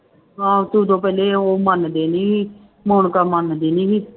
ਹਾਂ ਤੇ ਉਦੋਂ ਪਹਿਲੇ ਉਹ ਮੰਨਦੇ ਨੀ ਸੀ ਮੋਨਿਕਾ ਮੰਨਦੀ ਨੀ ਸੀ।